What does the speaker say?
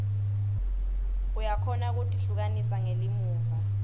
uyakhona kutihlukanisa ngelimuva